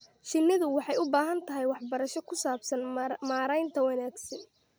Shinnidu waxay u baahan tahay waxbarasho ku saabsan maaraynta wanaagsan.